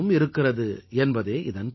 अमृतम्संस्कृतम् मित्र सरसम्सरलम्वचः |